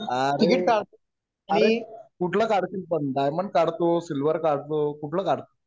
अरे कुठलं काढशील पण डायमंड काढतो सिल्व्हर काढतो कुठलं काढतो